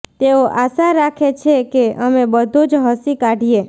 તેઓ આશા રાખે છે કે અમે બધું જ હસી કાઢીએ